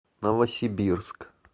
новосибирск